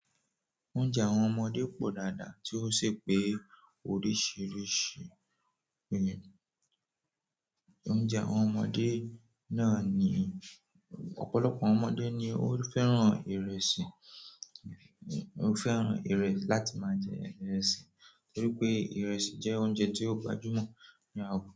Oúnjẹ àwọn ọmọdé pọ̀ dáadáa tí ó sì pé oríṣiríṣi. Oúnjẹ àwọn ọmọdé náà ni ọ̀pọ̀lọpọ̀ ọmọdé ni ó fẹ́ràn ìrẹsì, ó fẹ́ràn ìrẹsì láti máa jẹ ìrẹsì nítorí pé ìrẹsì jẹ́ oúnjẹ tí ó gbajúmọ̀ ní àwùjọ.